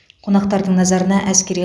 қонақтардың назарына әскери